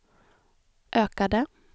ökade